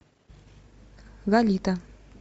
лолита